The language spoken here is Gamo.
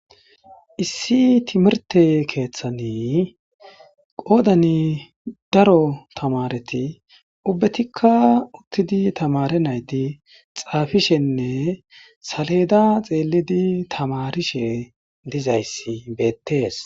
Issi timirte keeththanii qoodani daro tamareti ubbetikka uttidi tamare naydi xaafishenne saleeda xeelidi tamarishe dizayssi beettees.